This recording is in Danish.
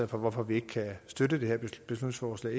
for hvorfor vi ikke kan støtte det her beslutningsforslag